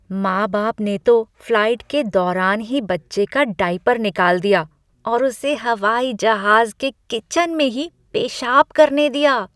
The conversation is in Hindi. माँ बाप ने तो फ्लाइट के दौरान ही बच्चे का डायपर निकाल दिया और उसे हवाईजहाज के किचन में ही पेशाब करने दिया।